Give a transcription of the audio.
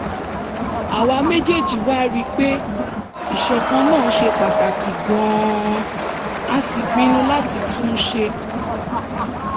àwa méjèèjì wá rí i pé ìṣọ̀kan náà ṣe pàtàkì gan-an a sì pinnu láti tún un ṣe